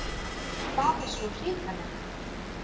Það er svo hrikalegt